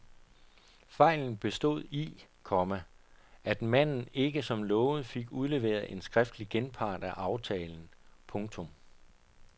Fejlen bestod i, komma at manden ikke som lovet fik udleveret en skriftlig genpart af aftalen. punktum